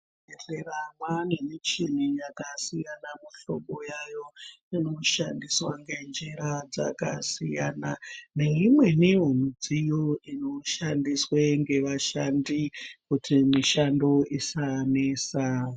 Muzvibhedhlera mwane michini yakasiyana mihlobo yayo. Inoshandiswe ngenjira dzakasiyana, neimweniwo midziyo inoshandiswe ngevashandi kuti mishando isanesa.